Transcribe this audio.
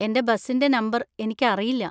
എന്‍റെ ബസിന്‍റെ നമ്പർ എനിക്ക് അറിയില്ല.